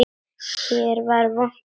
Hér var vont að vera.